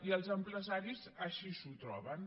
i els empresaris així s’ho troben